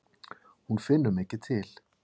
Hún finnur mikið til.